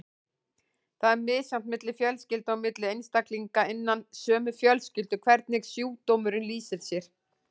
Það er misjafnt milli fjölskylda og milli einstaklinga innan sömu fjölskyldu hvernig sjúkdómurinn lýsir sér.